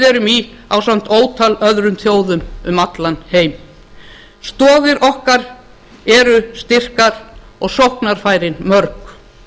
erum í ásamt ótal öðrum þjóðum um allan heim stoðir okkar eru styrkar og sóknarfærin mörg